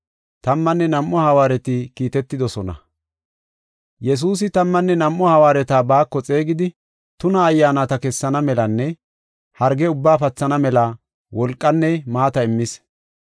Yesuusi tammanne nam7u hawaareta baako xeegidi, tuna ayyaanata kessana melanne harge ubbaa pathana mela wolqanne maata immis.